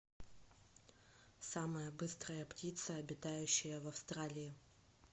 самая быстрая птица обитающая в австралии